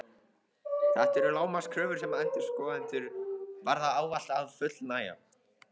Þetta eru lágmarkskröfur sem endurskoðendur verða ávallt að fullnægja.